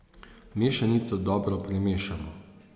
Mešanico dobro premešamo.